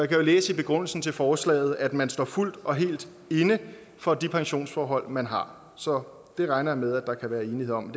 kan jo læse i begrundelsen til forslaget at man står fuldt og helt inde for de pensionsforhold man har så det regner jeg med at der kan være enighed om